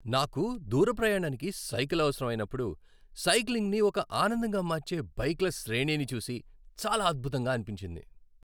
నాకు దూర ప్రయాణానికి సైకిల్ అవసరం అయినప్పుడు, సైక్లింగ్ని ఒక ఆనందంగా మార్చే బైక్ల శ్రేణిని చూసి చాలా అద్భుతంగా అనిపించింది.